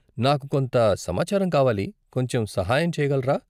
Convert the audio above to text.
నాకు కొంత సమాచారం కావాలి, కొంచెం సహాయం చేయగలరా?